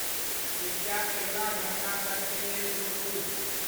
कृपया अगिला घंटा तक के लेल राेकू